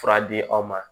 Fura di aw ma